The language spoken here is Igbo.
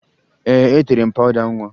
Ee, etere m pawụda nwa